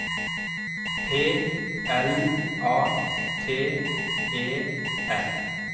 P L A T E R